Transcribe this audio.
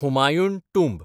Humayun tomb